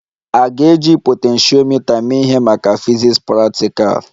A ga-eji potentiomita mee ihe maka fiziks praktikal?